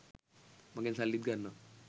මගෙන් සල්ලිත් ගන්නවා.